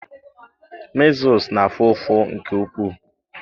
measles na-afụ ụfụ nke ukwuu.